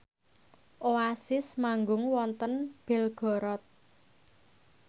Oasis manggung wonten Belgorod